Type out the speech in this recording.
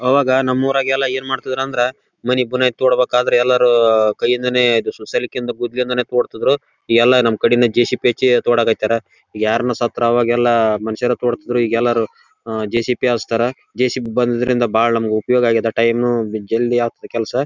ಅದನ್ ಒಂದ್ ಕಡೆಯಿಂದ ಯೆತ್ತಿ ಇನ್ನೊಂದ್ಕಡೆ ಹಾಕೋದು ಜನಗಳಿಗೆ ತುಂಬಾ ಕಷ್ಟ ಆಗುತ್ತೆ. ಅದೇ ಜೆಸಿಬಿ ಅಥವಾ ಹಿಟಾಚಿ ಇದ್ದರೆ--